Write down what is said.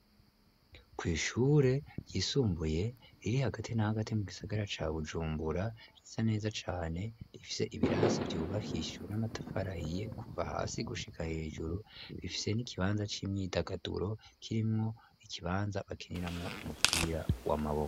Kw'ishure yisumbuye iri hagati n'ahagati mu gisagara ca bujumbura risa neza cane rifise ibirasi vyubahishijwe n'amatafarahiye kuva hasi gushika hejuru bifise n'ikibanza c'imyidagaduro kirimwo ikibanza bakiniramwo umupira wamabowa.